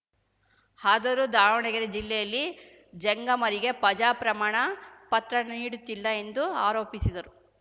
ಆದರೂ ದಾವಣಗೆರೆ ಜಿಲ್ಲೆಯಲ್ಲಿ ಜಂಗಮರಿಗೆ ಪಜಾ ಪ್ರಮಾಣ ಪತ್ರ ನೀಡುತ್ತಿಲ್ಲ ಎಂದು ಆರೋಪಿಸಿದರು